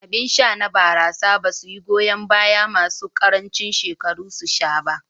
Abin sha na barasa basu yi goyan bayan masu ƙarancin shekaru su sha ba.